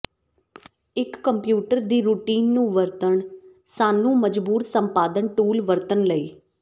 ਇੱਕ ਕੰਪਿਊਟਰ ਦੀ ਰੁਟੀਨ ਨੂੰ ਵਰਤਣ ਸਾਨੂੰ ਮਜਬੂਰ ਸੰਪਾਦਨ ਟੂਲ ਵਰਤਣ ਲਈ